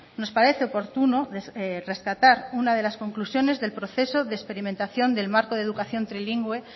nos parece oportuno rescatar una de las conclusiones del proceso de experimentación del marco de educación trilingüe